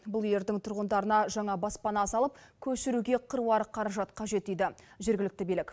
бұл үйлердің тұрғындарына жаңа баспана салып көшіруге қыруар қаражат қажет дейді жергілікті билік